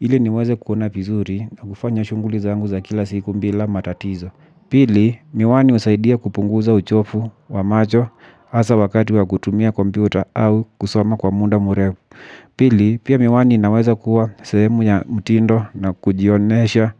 ili niweze kuona vizuri na kufanya shuguli zangu za kila siku bila matatizo. Pili, miwani husaidia kupunguza uchovu wa macho hasa wakati wa kutumia kompyuta au kusoma kwa munda mrefu. Pili, pia miwani inaweza kuwa sehemu ya mtindo na kujionyesha